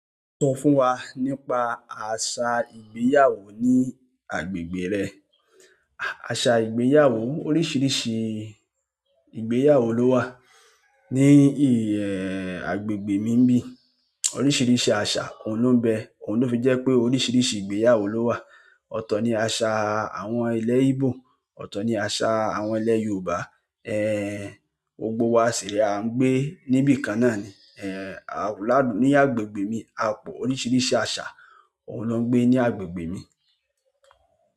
Sọ fún wa nípa àṣà ìgbéyàwó ní agbègbè rẹ. Àṣà ìgbéyàwó oríṣiríṣi ìgbéyàwó ló wà ní ìhẹ agbègbè mi bí. Oríṣiríṣi àṣà òun ló ń bẹ, òun ló fi jẹ́ pé oríṣiríṣi ìgbéyàwó ló wà. Ọ̀tọ̀ ni àṣà àwọn ilé Íbò, ọ̀tọ̀ ni àṣà àwọn ilé Yoòbá. Ehn, gbogbo wa sì rèé, à ń gbé níbìkan náà ni. Ehn, lá'gbègbè mi, a pọ̀, oríṣiríṣi àṣà, òun ló ń gbé ní agbègbè mi.